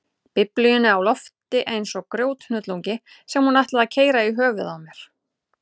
Biblíunni á lofti eins og grjóthnullungi sem hún ætlaði að keyra í höfuðið á mér.